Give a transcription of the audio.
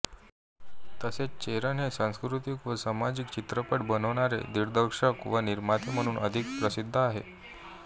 तसेच चेरन हे सांस्कृतीक व सामाजिक चित्रपट बनविणारे दिग्दर्शक व निर्माते म्हणून अधिक प्रसिद्ध आहेत